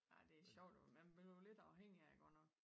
Ej det sjovt men man bliver lidt afhængig af det godt nok